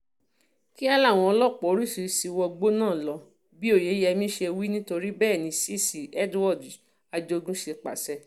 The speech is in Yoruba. kíá làwọn ọlọ́pàá oríṣìíríṣìí wọgbó náà lọ bí oyeyẹmí ṣe wí nítorí bẹ́ẹ̀ ni cc edward ajogun ṣe pàṣẹ